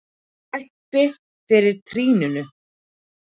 Teppi fyrir trýninu.